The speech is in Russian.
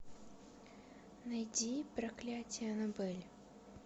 найди проклятие аннабель